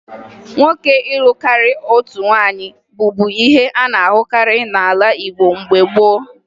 Nwoke ịlụ karịa otu nwaanyị bụbu ihe a na-ahụkarị n'ala Igbo mgbe gboo